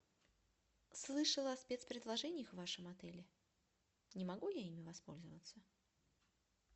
слышала о спецпредложениях в вашем отеле не могу я ими воспользоваться